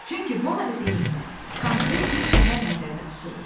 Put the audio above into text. Çünki bu ad dedikdə konkret bir şəhər nəzərdə tutulur.